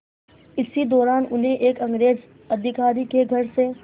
इसी दौरान उन्हें एक अंग्रेज़ अधिकारी के घर से